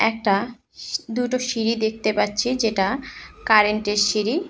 একটা দুটো সিঁড়ি দেখতে পাচ্ছি যেটা কারেন্টের -এর সিঁড়ি।